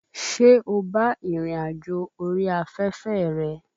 Ṣé o bá ìrìn àjò orí afẹ́fẹ́ rẹ?